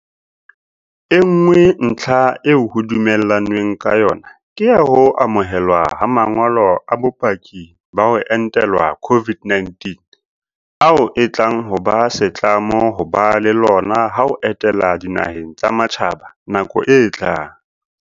E nngwe ntlha eo ho dumellanweng ka yona ke ya ho amohelwa ha ma ngolo a bopaki ba ho entelwa COVID-19 - ao e tlang ho ba setlamo ho ba le lona ha o etela dinaheng tsa matjhaba nakong e tlang.